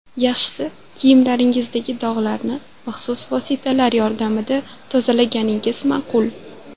Yaxshisi kiyimlaringizdagi dog‘larni maxsus vositalar yordamida tozalaganingiz ma’qul.